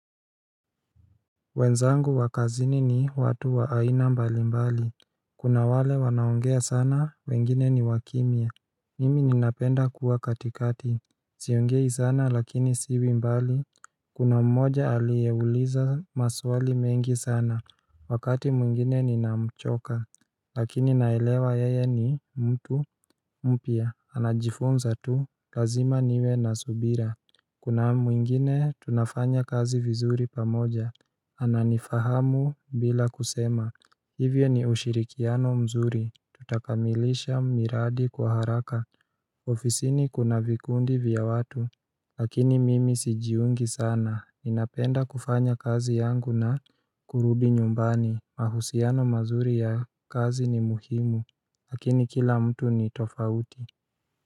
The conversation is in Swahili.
Wenzangu wa kazini ni watu wa aina mbali mbali. Kuna wale wanao ongea sana, wengine ni wakimia Mimi ninapenda kuwa katikati siongei sana lakini siwi mbali Kuna mmoja aliyeuliza maswali mengi sana, wakati mwingine ninamchoka Lakini naelewa yeye ni mtu mpya, anajifunza tu, lazima niwe na subira Kuna mwingine tunafanya kazi vizuri pamoja ananifahamu bila kusema, hivyo ni ushirikiano mzuri tutakamilisha miradi kwa haraka ofisini kuna vikundi vya watu lakini mimi sijiungi sana. Ninapenda kufanya kazi yangu na kurudi nyumbani. Mahusiano mazuri ya kazi ni muhimu lakini kila mtu ni tofauti.